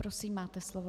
Prosím, máte slovo.